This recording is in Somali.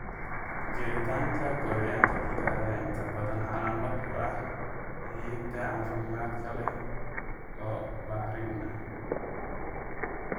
Jiritaanka gooryaanka dhulka ayaa inta badan calaamad u ah ciidda caafimaadka leh oo bacrin ah.